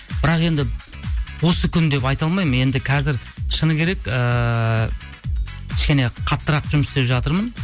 бірақ енді осы күн деп айта алмаймын енді қазір шыны керек ыыы кішкене қаттырақ жұмыс істеп жатырмын